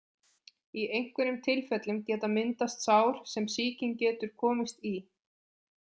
Í einhverjum tilfellum geta myndast sár sem sýking getur komist í.